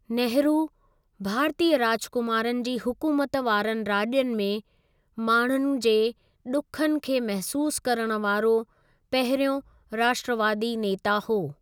नेहरू, भारतीय राजकुमारनि जी हुकूमत वारनि राज्यनि में, माण्हुनि जे ॾुखनि खे महसूस करण वारो पहिरियों राष्ट्रवादी नेता हो।